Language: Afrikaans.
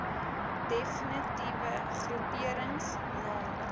defnitiewe groeperings naamlik